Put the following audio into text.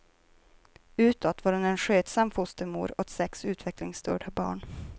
Utåt var hon en skötsam fostermor åt sex utvecklingsstörda barn.